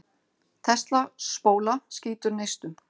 Tesla-spóla skýtur neistum.